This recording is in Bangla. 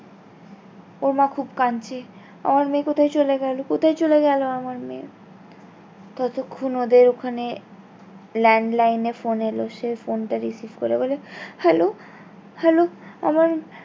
ওর মা খুব কাঁদছে আমার মেয়ে কোথায় চলে গেলো কোথায় চলে গেলো আমার মেয়ে ততক্ষন ওদের ওখানে land line এ ফোন এলো সে ফোনটা receive করে বলে hello hello আমার